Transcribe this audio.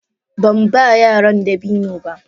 Ban ba yaran dabino ba.